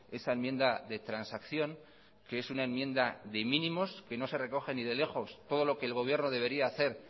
esa enmienda de transacción que es una enmienda de mínimos que no se recoge ni de lejos todo lo que el gobierno debería hacer